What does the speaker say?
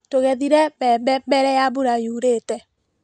Tũgethire mbembe mbere ya mbura yurĩte.